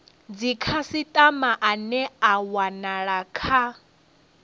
dzikhasitama ane a wanala kha